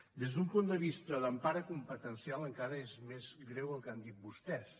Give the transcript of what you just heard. des d’un punt de vista d’empara competencial encara és més greu el que han dit vostès